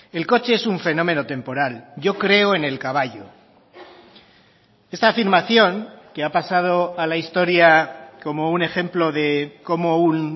el coche es un fenómeno temporal yo creo en el caballo esta afirmación que ha pasado a la historia como un ejemplo de cómo un